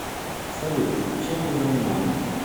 салют чем вы занимались